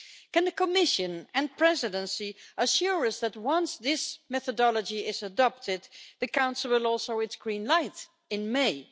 Can the Commission and Presidency assure us that once this methodology is adopted, the Council will show its green light in May?